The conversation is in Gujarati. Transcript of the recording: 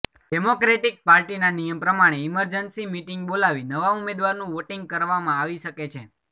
ડેમોક્રેટિક પાર્ટીના નિયમ પ્રમાણે ઈમરજન્સી મિટિંગ બોલાવી નવા ઉમેદવારનું વોટિંગ કરવામાં આવી શકે છે